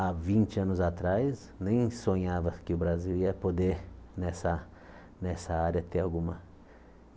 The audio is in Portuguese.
há vinte anos atrás, nem sonhava que o Brasil ia poder, nessa nessa área, ter alguma.